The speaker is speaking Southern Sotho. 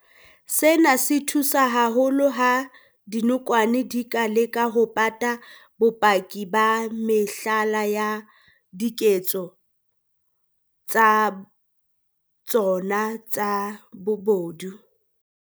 Sena se thusa haholo ha dinokwane di ka leka ho pata bopaki ba mehlala ya diketso tsa tsona tsa bobodu.